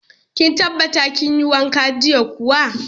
Kin tabbata kin yi wanka jiya kuwa.